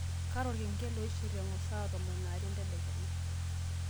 kaata olkengele oishir engor saa tomon aare entedekenya